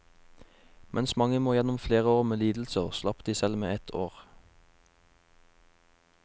Mens mange må gjennom flere år med lidelser, slapp de selv med ett år.